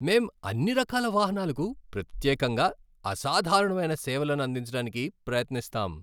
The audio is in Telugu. మేం అన్ని రకాల వాహనాలకు ప్రత్యేకంగా అసాధారణమైన సేవలను అందించడానికి ప్రయత్నిస్తాం.